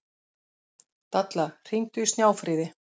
Dalla, hringdu í Snjáfríði.